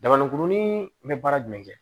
Dabaninkurumanin bɛ baara jumɛn kɛ